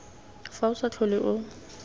fa o sa tlhole o